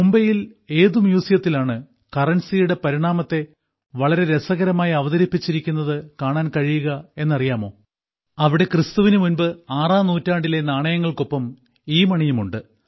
മുംബൈയിൽ ഏതു മ്യൂസിയത്തിലാണ് കറൻസിയുടെ പരിണാമത്തെ വളരെ രസകരമായി അവതരിപ്പിച്ചിരിക്കുന്നത് കാണുവാൻ കഴിയുക എന്നറിയാമോ അവിടെ ക്രിസ്തുവിന് മുൻപ് ആറാം നൂറ്റാണ്ടിലെ നാണയങ്ങൾക്കാപ്പം ഇമണിയും ഉണ്ട്